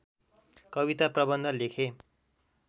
कविता प्रबन्ध लेखे